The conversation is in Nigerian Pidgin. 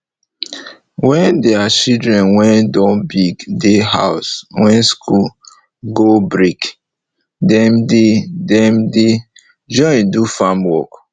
wen deir children wey don big dey house wen school go break dem dey dem dey join do farm work